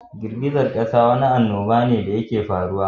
Girgizan ƙasa Wani annubane da yake faruwa.